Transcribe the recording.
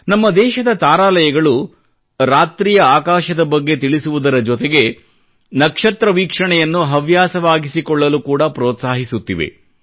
ನಮ್ಮ ದೇಶದ ತಾರಾಲಯಗಳು ರಾತ್ರಿ ಆಕಾಶದ ಬಗ್ಗೆ ತಿಳಿಸುವುದರ ಜೊತೆಗೆ ನಕ್ಷತ್ರ ವೀಕ್ಷಣೆಯನ್ನು ಹವ್ಯಾಸವಾಗಿಸಿಕೊಳ್ಳಲು ಕೂಡಾ ಪ್ರೋತ್ಸಾಹಿಸುತ್ತಿವೆ